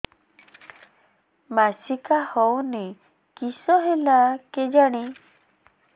ମାସିକା ହଉନି କିଶ ହେଲା କେଜାଣି